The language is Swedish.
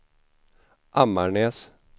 Ammarnäs